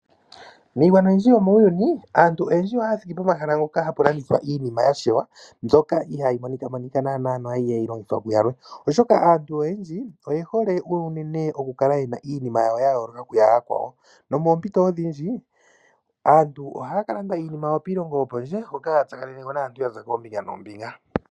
Miigwana oyindji yomuuyuni aantu oyendji ohaya thiki pomahala mpoka hapu landithwa iinima yashewa mbyoka ihaya monika monika naana no ihayi longithwa kuyalwe. Oshoka aantu oyendji oyehole okukala yena iinima yayooloka kuyayakwawo nomoompito odhindji aantu ohaya kalanda iinima yawo piilongo yopondje hoka haya tsakanene ko naantu yaza koombinga noombinga.